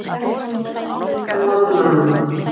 Þorbjörg, hækkaðu í hátalaranum.